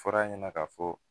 Fɔra a ɲɛna ka fɔ